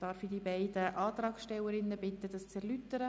Ich bitte die beiden Antragstellerinnen, ihre Anträge zu erläutern.